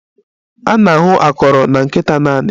A na-ahụ akọrọ na nkịta naanị?